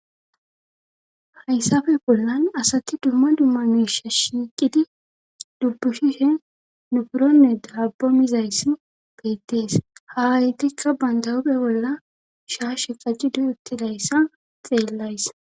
Hayssafe bollan asati dumma dumma miisha shiiqidi dubbushishe nufuronne dabbo mizayssi beettees aayetikka banda huuphe bolla shaashe qacidi uttidayssa xeellays.